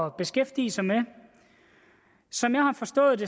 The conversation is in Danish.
at beskæftige sig med som jeg har forstået